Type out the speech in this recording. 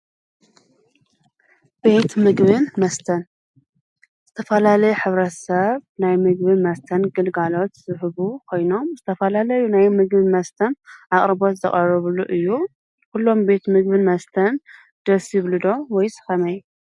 ቤት ምግብን መስተን ዝተፈላለዩ ሕብረተ ሰብ ናይ ምግብን መስተን ግልጋሎት ዝህቡ ኾይኖም ዝተፈላለዩ ናይ ምግብን መስተን ኣቕሪቦት ዘቐረብሉ እዩ፡፡ ኲሎም ቤት ምግብን መስተን ደስ ይብሉ ዶ ወይስ ኸመይ?